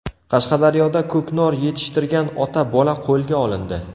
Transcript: Qashqadaryoda ko‘knor yetishtirgan ota-bola qo‘lga olindi.